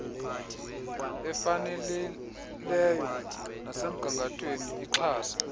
efanelileyo nesemgangathweni ixhase